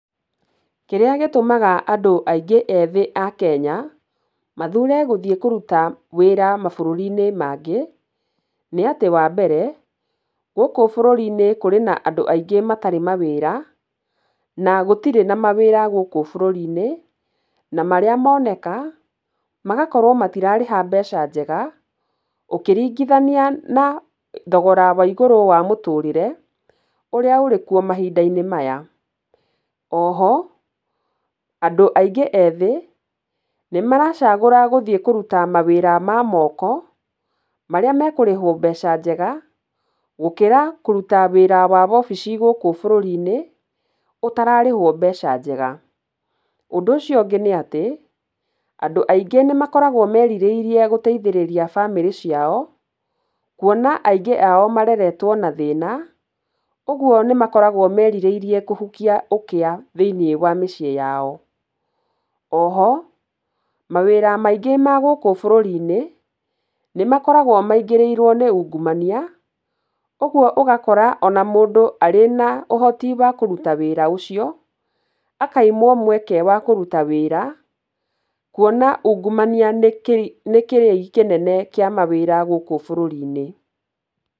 Kĩrĩa gĩtũmaga andũ aingĩ ethĩ a Kenya, mathure gũthiĩ kũruta wĩra mabũrũri-inĩ mangĩ nĩ atĩ wa mbere, gũkũ bũrũri-inĩ kũrĩ na andũ aingĩ matarĩ mawĩra, na gũtirĩ na mawĩra gũkũ bũrũri-inĩ, na marĩa moneka, magakorwo atĩ matirarĩha mbeca njega, ũkĩringithania na thogora wa igũrũ wa mũtũrĩre, ũrĩa ũrĩ kuo mahinda-inĩ maya. O ho, andũ aingĩ ethĩ, nĩ maracagũra gũthiĩ kũruta mawĩra ma moko marĩa, mekũrĩhwo mbeca njega, gũkĩra kũruta wĩra ma wobici gũkũ bũrũri-inĩ ũtararĩhwo mbeca njega. Ũndũ ũcio ũngĩ nĩ atĩ, andũ aingĩ nĩ makoragwo merirĩirie gũteithia bamĩrĩ ciao, kuona aingĩ ao mareretwo na thĩna, ũgũo nĩ makoragwo meriĩirie kũhukia ũkia thĩ-inĩ wa mĩciĩ yao. O ho mawĩra maingĩ ma gũkũ bũrũri-inĩ, nĩ makoragwo maingĩrĩirwo nĩ ungumania, ũguo ũgakora o na mũndũ arĩ na ũhoti wa kũruta wĩra ũcio, akaimwo mweke wa kũruta wĩra, kuona ungumania nĩ kĩrĩi kĩnene kĩa mawĩra gũkũ bũrũri-inĩ.